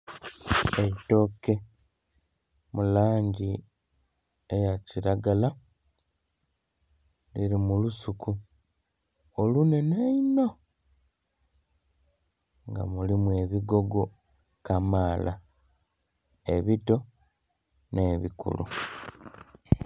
Eitooke mu langi eya kilagala liri mu lusuki olunene einho nga mulim ebigogo kamaala ebito ne'bikulu.